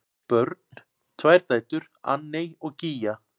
Börn: Tvær dætur, Anney og Gígja.